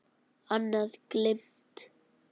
Annað: Gleymt.